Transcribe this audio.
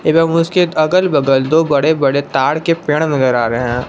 एवं उसके अगल बगल दो बड़े बड़े ताड़ के पेड़ नजर आ रहे हैं।